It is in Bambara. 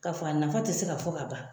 Ka fɔ a nafa ti se ka fɔ ka ban